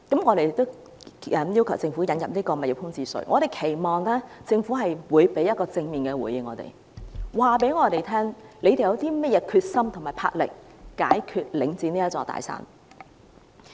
我們要求政府引入物業空置稅，期望政府會給予正面的回應，告訴我們政府有甚麼決心和魄力去解決領展這座"大山"。